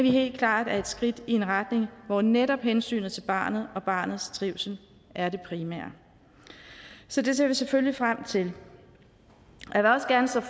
helt klart er et skridt i en retning hvor netop hensynet til barnet og barnets trivsel er det primære så det ser vi selvfølgelig frem til